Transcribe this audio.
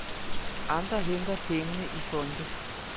Andre henter pengene i fonde.